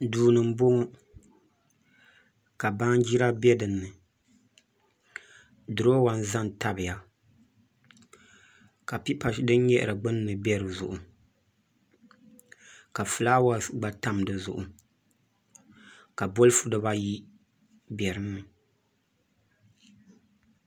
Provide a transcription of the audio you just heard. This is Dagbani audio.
Duu ni n bɔŋɔ ka baanjira bɛ dinni duroowa n ʒɛ n tabiya ka pipa din nyaɣari gbunni bɛ dizuɣu ka fulaawɛs gba tam dizuɣu ka bolfu dibayi bɛ dinni